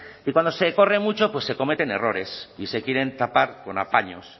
y cuando se corre mucho pues se cometen errores y se quieren tapar con apaños